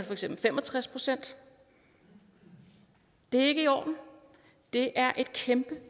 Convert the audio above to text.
for eksempel fem og tres procent det er ikke i orden og det er et kæmpe